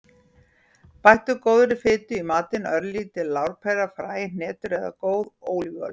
Bættu góðri fitu í matinn; örlítil lárpera, fræ, hnetur eða góð ólífuolía.